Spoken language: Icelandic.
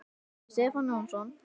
eftir Stefán Jónsson